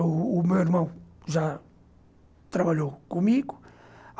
O o o meu irmão já trabalhou comigo.